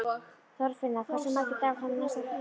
Þorfinna, hversu margir dagar fram að næsta fríi?